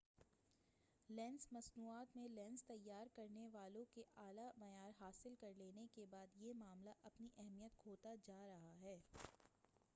lens مصنوعات میں lens تیار کرنے والوں کے اعلی معیار حاصل کر لینے کے بعد یہ معاملہ اپنی اہمیت کھوتا جا رہا ہے